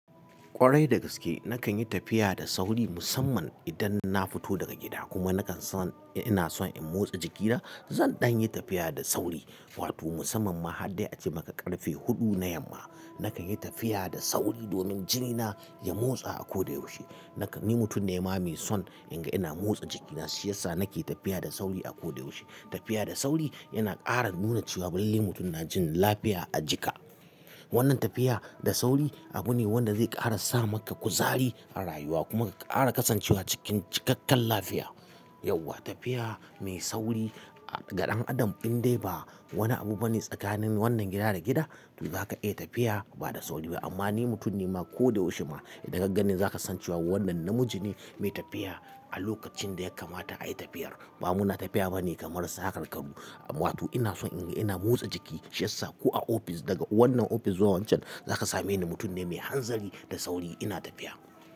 Kwarai dagaske nakan yi tafiya da sauri musamman idan na fito daga gida kuma nakan son ina son in motsa jikina. Zan dan yi tafiya da sauri wato musamman ma har dai ace maka karfe huɗu na yamma. Nakan yi tafiya da sauri domin jinina ya motsa a kodayaushe. Nakan ni mutum ne ba mai son in ga ina motsa jikina shi yassa, nake tafiya da sauri a kodayaushe. Tafiya da sauri yana ƙara nuna cewa balle mutum na jin lafiya a jika. Wannan tafiya da sauri abu ne wanda zai ƙara sa maka kuzari a rayuwa kuma ƙara ƙasancewa cikin cikakkar lafiya. Yauwa tafiya mai sauri a ga ɗan adam indai ba wani abu bane tsakanin wannan gida da gida. To zaka iya tafiya ba da sauri ba. Amma ni mutum ne ma kodayaushe ma in ka ga gani zaka san cewa wannan namiji ne mai tafiya a lokacin da ya kamata ayi tafiyar. Ba muna tafiya ba ne kamar sakarkaru. Amma wato ina son in ga ina motsa jiki siyassa ko a ofis daga wannan ofis zuwa wancan zaka same ni mutum ne mai hanzari da sauri ina tafiya.